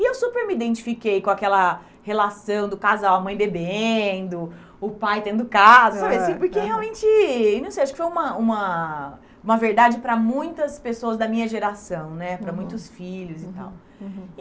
E eu super me identifiquei com aquela relação do casal, a mãe bebendo, o pai tendo casa, porque realmente, não sei, acho que foi uma uma uma verdade para muitas pessoas da minha geração né, uhum, para muitos filhos e tal. Uhum